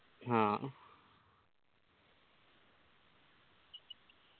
ഹാ